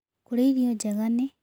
Kũrĩa irio njega nĩ